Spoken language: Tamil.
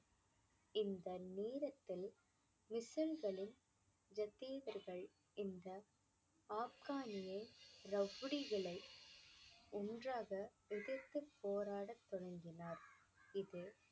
இந்த நேரத்தில் இந்த ஆப்கானிய ரவுடிகளை ஒன்றாக எதிர்த்துப் போராடத் தொடங்கினார் இது